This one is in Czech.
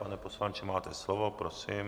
Pane poslanče, máte slovo, prosím.